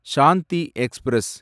Shanti express